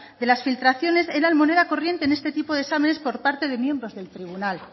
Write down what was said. que las filtraciones eran moneda corriente en este tipo de exámenes por parte de miembros del tribunal